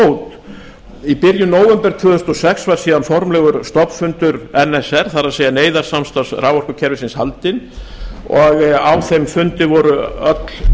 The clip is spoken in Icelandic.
fót í byrjun nóvember tvö þúsund og sex var síðan formlegur stofnfundur nsr það er neyðarsamtarfs raforkukerfisins haldinn og á þeim fundi voru öll